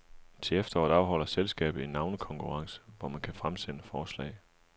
Til efteråret afholder selskabet en navnekonkurrence, hvor man kan fremsende forslag.